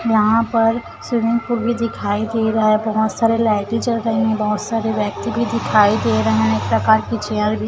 वहाँ पर swimming pool भी दिखाई दे रहा है बहोत सारे लाइटें जल रहे है बहोत सारे व्यक्ति भी दिखाई दे रहे है एक प्रकार की चेयर भी --